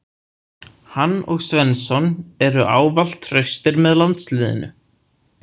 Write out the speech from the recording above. Hann og Svensson eru ávallt traustir með landsliðinu.